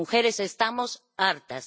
Y las mujeres estamos hartas.